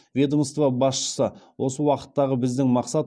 ведомство басшысы осы уақыттағы біздің мақсат